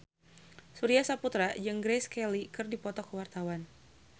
Surya Saputra jeung Grace Kelly keur dipoto ku wartawan